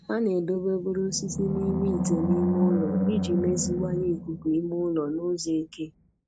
Ha na-edobe obere osisi n'ime ite n'ime ụlọ iji meziwanye ikuku ime ụlọ n'ụzọ eke